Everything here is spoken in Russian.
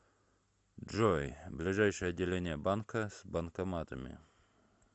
джой ближайшее отделение банка с банкоматами